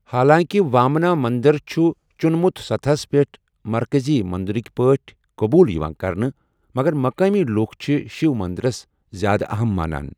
حالانٛکہِ وامانا مندر چھُ چُنمُت سطحس پٮ۪ٹھ مرکزی مندرٕک پٲٹھۍ قبول یٕوان کرنہٕ مگر مقٲمی لوک چھِ شیو مندرس زیادٕ اَہَم مانان۔